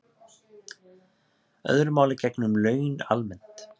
Öðru máli gegnir um laun almennt